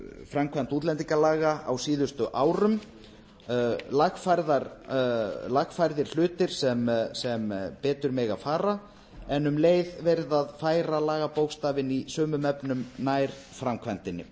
framkvæmd útlendingalaga á síðustu árum lagfærðir hlutir sem betur mega fara en um leið verið að færa lagabókstafinn í sumum efnum nær framkvæmdinni